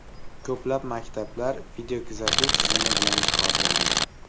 Ko‘plab maktablar videokuzatuv tizimi bilan jihozlandi.